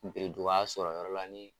Bereduga sɔrɔ yɔrɔ la nin